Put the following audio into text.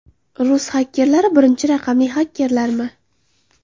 Rus xakerlari birinchi raqamli xakerlarmi?